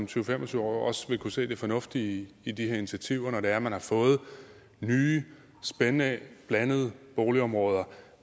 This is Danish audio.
til fem og tyve år også vil kunne se det fornuftige i de her initiativer når det er man har fået nye spændende blandede boligområder